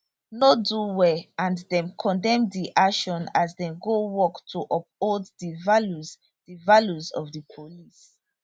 no do well and dem condemn di action as dem go work to uphold di values di values of di police